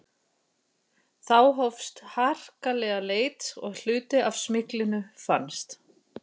Þá hófst harkaleg leit og hluti af smyglinu fannst.